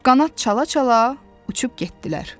Qanad çala-çala uçub getdilər.